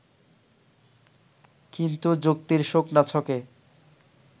কিন্তু যুক্তির শুকনা ছকে